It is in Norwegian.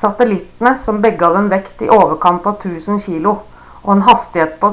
satellittene som begge hadde en vekt i overkant av 1000 kilo og en hastighet på